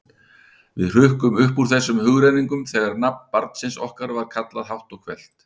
Við hrukkum upp úr þessum hugrenningum þegar nafn barnsins okkar var kallað hátt og hvellt.